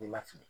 N'i ma fili